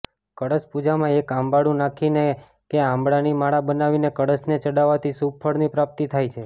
કળશ પૂજામાં એક આંબળુંનાંખીને કે આંબળાની માળા બનાવીને કળશને ચડાવવાથી શુભ ફળની પ્રાપ્તિ થાય છે